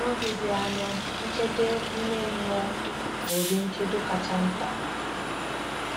N’oge dị anya, nchedo ime mmụọ bụ ụdị nchedo kacha mkpa.